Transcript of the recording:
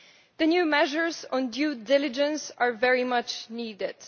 The new measures on due diligence are very much needed.